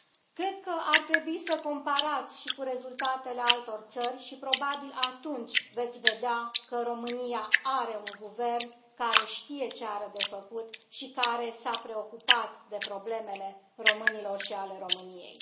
Cred că ar trebui să comparați și cu rezultatele altor țări și, probabil, atunci veți vedea că România are un guvern care știe ce are de făcut și care s a preocupat de problemele românilor și ale României.